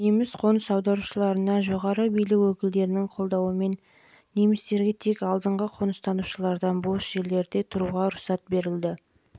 неміс қоныс аударушыларына жоғары билік өкілдерінің қолдауымен жылы немістерге тек алдыңғы қоныстанушылардан бос жерлерде тұруға рұқсат етілді